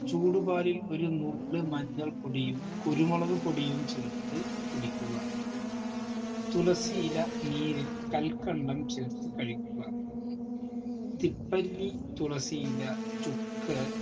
ചൂടുപാലിൽ ഒരു നുള്ള് മഞ്ഞൾപൊടിയും കുരുമുളക് പൊടിയും ചേർത്ത് കുടിക്കുക തുളസി ഇല നീരിൽ കൽക്കണ്ടം ചേർത്ത് കഴിക്കുക തിപ്പല്ലി തുളസി ഇല ചുക്ക്